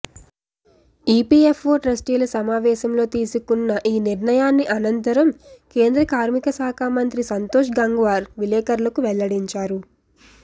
EPFO ట్రస్టీల సమావేశంలో తీసుకున్న ఈ నిర్ణయాన్ని అనంతరం కేంద్ర కార్మిక శాఖ మంత్రి సంతోశ్ గంగ్వార్ విలేఖరులకు వెల్లడించారు